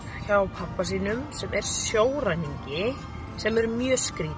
hjá pabba sínum sem er sjóræningi sem er mjög skrítið